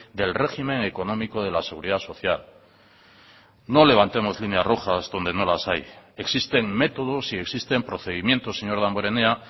del régimen económico de la seguridad social no levantemos líneas rojas donde no las hay existen métodos y existen procedimientos señor damborenea